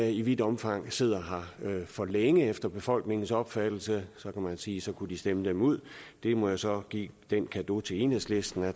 i vidt omfang sidder her for længe efter befolkningens opfattelse så kan man sige at så kunne de stemme dem ud jeg må så give den cadeau til enhedslisten at